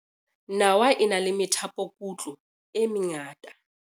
nawa e na le methapokutlo e mengata